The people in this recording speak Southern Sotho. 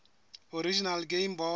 original game boy